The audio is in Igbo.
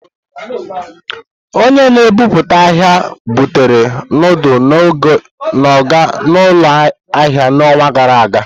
Onye na-ebubata ahia butere ndulu ndi Oga n'ụlọ ahịa n'ọnwa gara aga.